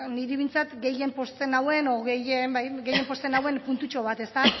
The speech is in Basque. niri behintzat gehien pozten nauen edo bai gehien pozten nauen puntutxo bat